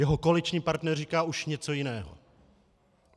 Jeho koaliční partner říká už něco jiného.